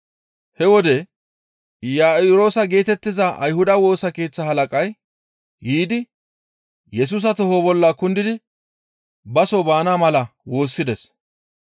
He wode Iya7iroosa geetettiza Ayhuda Woosa Keeththa halaqay yiidi Yesusa toho bolla kundidi baso baana mala woossides.